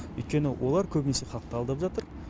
өйткені олар көбінесе халықты алдап жатыр